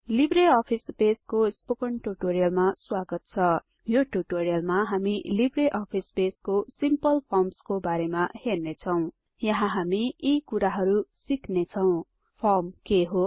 Libre Office बेसको spoken ट्युटोरियलमा स्वागत छ यो टुटोरियलमा हामी लिब्रे आफिस बेसको सिम्पल फर्म्सको बारेमा हेर्नेछौं यहाँ हामी यी कुराहरु सिक्नेछौं फर्म के हो